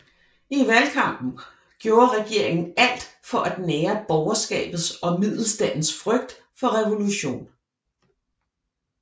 I valgkampen gjorde regeringen alt for at nære borgerskabets og middelstandens frygt for revolution